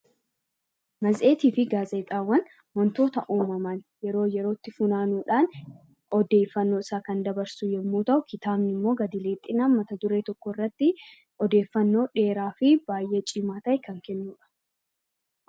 Matseetii fi gaazexaawwan waantota uumaman yeroo yerootti funaanuudhaan odeeffannoo isaa kan dabarsu yemmuu ta'u, kitaabni immoo gad lixinaam mata duree tokko irratti odeeffannoo dheeraa fi baayyee cimaa ta'e kan kennudha.